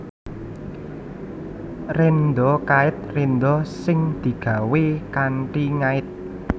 Rénda kait rénda sing digawé kanthi ngait